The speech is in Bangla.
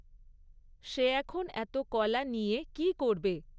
সে এখন এত কলা নিয়ে কী করবে?